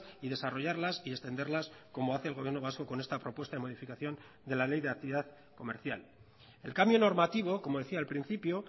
y desarrollarlas y extenderlas como hace el gobierno vasco con esta propuesta de modificación de la ley de actividad comercial el cambio normativo como decía al principio